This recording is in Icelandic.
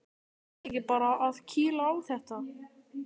Eigum við ekki bara að kýla á þetta?